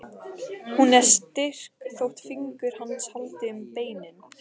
Hún er styrk þótt fingur hans haldi um beinin.